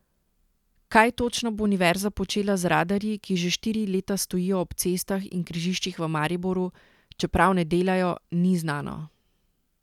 Kaj točno bo univerza počela z radarji, ki že štiri leta stojijo ob cestah in križiščih v Mariboru, čeprav ne delajo, ni znano.